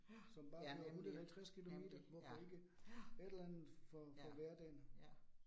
Ja ja nemlig, nemlig, ja. Ja, ja, ja